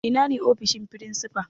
Ina ne ofishin firinsifa?